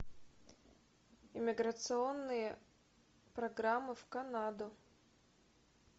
миграционные программы в канаду